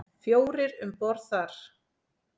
Fjórir um borð þar.